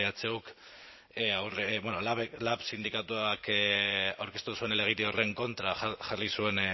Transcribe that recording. lab sindikatuak aurkeztu zuen helegite horren kontra jarri zuen